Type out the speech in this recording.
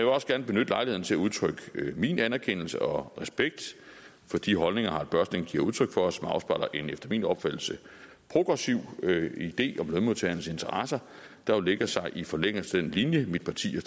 også gerne benytte lejligheden til at udtrykke min anerkendelse og respekt for de holdninger harald børsting giver udtryk for og som afspejler en efter min opfattelse progressiv idé om lønmodtagernes interesser der jo lægger sig i forlængelse af den linje mit parti